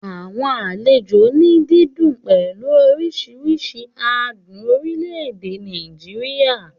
Àwọn àlejò inú dídùn pẹ̀lú oríṣiríṣi adùn orílẹ̀-èdè Nàìjíríà